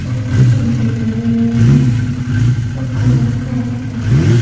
और कुछ पंखे भी लगे हुए हैं पंखों का रंग व्हाइट दिख रहा है।